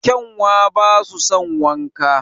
Kyanwa basu son wanka